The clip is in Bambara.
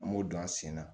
An m'o don an sen na